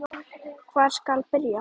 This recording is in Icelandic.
Hvar skal byrja?